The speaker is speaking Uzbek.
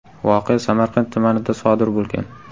Voqea Samarqand tumanida sodir bo‘lgan.